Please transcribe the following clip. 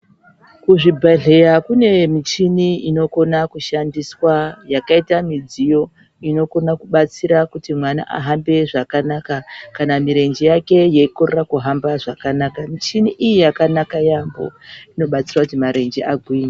Kuzvibhedhleya kune michini inokona kushandiswa yakaita midziyo inokona kubatsira kuti mwana ahambe zvakanaka kana mirenje yake yeikorera kuhamba zvakanaka. Michini iyi yakanaka yamho, inobatsira kuti marenje agwinye.